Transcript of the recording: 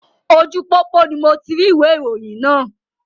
Ojú pópó ni moti rí ìwé ìròyìn náà